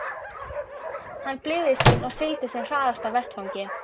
Hann blygðaðist sín og sigldi sem hraðast af vettvangi.